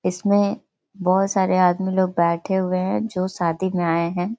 इसमें बहोत सारे आदमी लोग बैठे हुए हैं जो शादी में आए हैं।